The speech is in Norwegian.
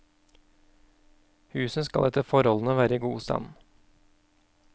Huset skal etter forholdene være i god stand.